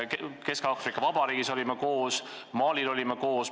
Kesk-Aafrika Vabariigis olime koos, Malis olime koos.